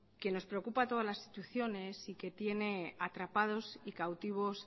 que nos preocupa a todas las instituciones y que tiene atrapados y cautivos